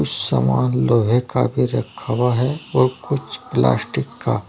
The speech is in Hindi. कुछ समान लोहे का भी रखा हुआ है और कुछ प्लास्टिक का--